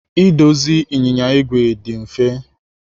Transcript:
Idozi ịnyịnya igwe dị mfe.